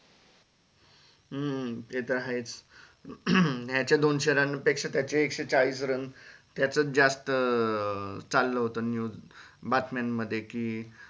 हम्म ते तर आहेच याचे दोनशे run पेक्षा त्याचे एकशे चाळीस run त्याच जास्त चालाल होत बातम्या मध्ये क